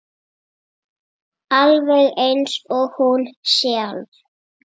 Alveg eins og hún sjálf.